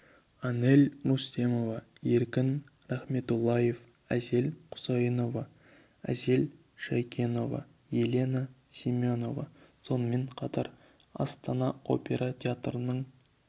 әнел рүстемова еркін рахметоллаев әсел құсайынова әсел шәйкенова елена семенова сонымен қатар астана опера театрының